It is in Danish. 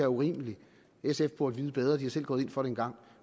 urimeligt sf burde vide bedre de er selv gået ind for det engang